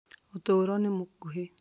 ũtũũro nĩ mũkuhĩ